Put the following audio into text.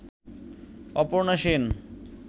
Aparna Sen